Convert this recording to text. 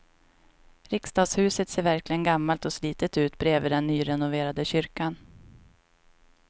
Riksdagshuset ser verkligen gammalt och slitet ut bredvid den nyrenoverade kyrkan.